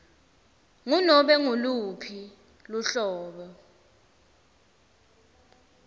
ngunobe nguluphi luhlobo